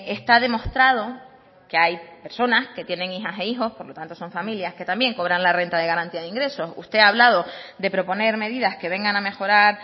está demostrado que hay personas que tienen hijas e hijos por lo tanto son familias que también cobran la renta de garantía de ingresos usted ha hablado de proponer medidas que vengan a mejorar